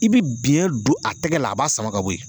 I bi biyɛn don a tɛgɛ la a b'a sama k'a bo ye.